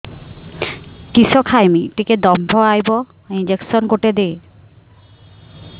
କିସ ଖାଇମି ଟିକେ ଦମ୍ଭ ଆଇବ ଇଞ୍ଜେକସନ ଗୁଟେ ଦେ